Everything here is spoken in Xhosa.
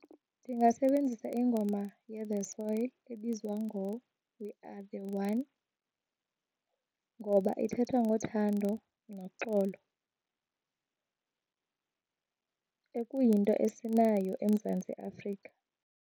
Ndingasebenzisa ingoma yeThe Soil ebizwa ngoWe Are The One ngoba ithetha ngothando noxolo okuyinto esinayo eMzantsi Afrika.